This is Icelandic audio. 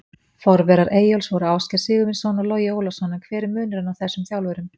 Forverar Eyjólfs voru Ásgeir Sigurvinsson og Logi Ólafsson, en hver er munurinn á þessum þjálfurum?